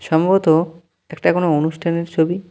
সম্ভবত একটা কোনো অনুষ্ঠানের ছবি।